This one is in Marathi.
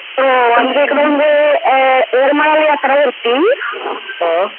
हो यात्रा होती